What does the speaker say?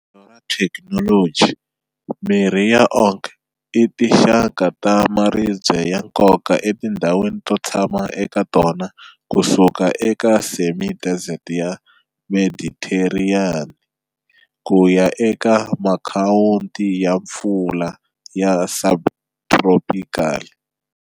Tlhelo ra ikholoji, mirhi ya oak i tinxaka ta maribye ya nkoka eka tindhawu to tshama eka tona ku suka eka semi-desert ya Mediteraniya ku ya eka makhwati ya mpfula ya subtropical.